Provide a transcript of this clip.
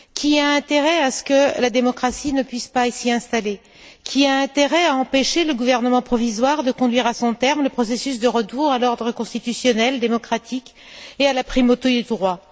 Qui a intérêt à ce que la démocratie ne puisse pas s'y installer? Qui a intérêt à empêcher le gouvernement provisoire de mener à son terme le processus de retour à l'ordre constitutionnel démocratique et à la primauté du droit?